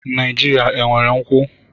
Naijiria enwere nkwu?